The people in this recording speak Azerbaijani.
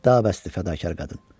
Da bəsdi, fədakar qadın.